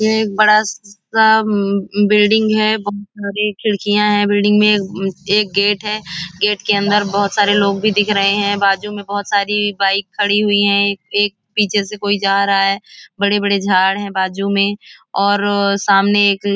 यह एक बड़ा सा अम बिल्डिंग है बहुत सारियां खिड़कीयां हैं बिल्डिंग में एक गेट है गेट के अंदर बहुत सारे लोग भी दिख रहे हैं बाजु में बहुत सारी बाइक खड़ी हुई हैं एक पीछे से कोई जा रहा है बड़े बड़े झाड हैं बाजु में और सामने एक --